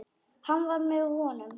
Hann var með honum!